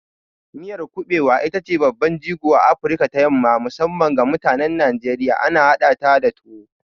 Miyar kuɓewa ita ce babban jigon a Afirka ta yamma, musamman ga mutanen Najeriya, ana hadata da tuwo.